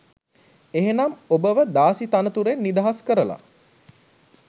එහෙනම් ඔබව දාසි තනතුරෙන් නිදහස් කරල